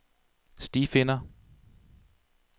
stifinder